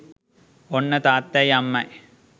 ඔන්න තාත්තයි අම්මයි